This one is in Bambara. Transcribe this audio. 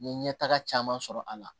N ye ɲɛtaga caman sɔrɔ a la